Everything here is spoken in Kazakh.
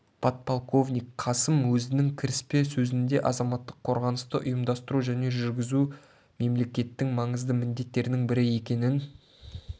подполковник қасым өзінің кіріспе сөзінде азаматтық қорғанысты ұйымдастыру және жүргізу мемлекеттің маңызды міндеттерінің бірі екенін